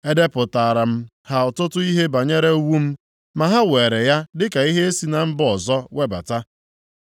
E depụtaara m ha ọtụtụ ihe banyere iwu m, ma ha were ya dịka ihe e si na mba ọzọ webata.